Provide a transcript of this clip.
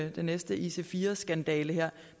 i den næste ic4 skandale her